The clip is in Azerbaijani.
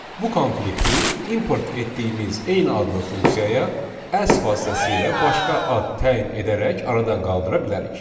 Bu konflikti import etdiyimiz eyni adlı funksiyaya as vasitəsilə başqa ad təyin edərək aradan qaldıra bilərik.